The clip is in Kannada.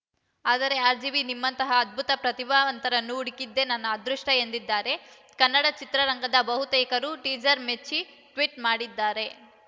ಆದರೆ ಆರ್‌ಜಿವಿ ನಿಮ್ಮಂತಹ ಅದ್ಭುತ ಪ್ರತಿಭಾವಂತರನ್ನು ಹುಡುಕಿದ್ದೇ ನನ್ನ ಅದೃಷ್ಟಎಂದಿದ್ದಾರೆ ಕನ್ನಡ ಚಿತ್ರರಂಗದ ಬಹುತೇಕರು ಟೀಸರ್‌ ಮೆಚ್ಚಿ ಟ್ವೀಟ್‌ ಮಾಡಿದ್ದಾರೆ